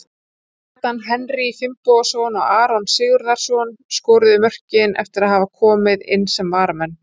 Kjartan Henry Finnbogason og Aron Sigurðarson skoruðu mörkin eftir að hafa komið inn sem varamenn.